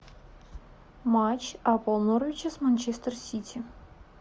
матч апл норвича с манчестер сити